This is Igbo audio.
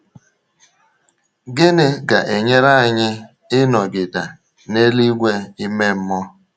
Gịnị ga-enyere anyị ịnọgide na eluigwe ime mmụọ?